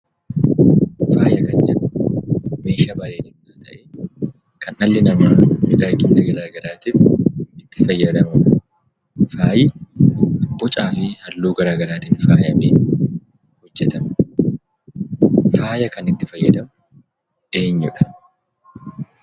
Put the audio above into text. Faaya kan jennu, meeshaa bareedinaa ta'ee, kan dhalli namaa fayidaalee garaagaraatiif itti fayyadamu. Faayi bocaa fi halluu garaagaraatiin miidhagfamee hojjetame. Faaya kan itti fayyadamu eenyudha?